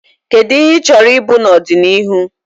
Kedu ihe ị chọrọ ịbụ n'ọdịnihu?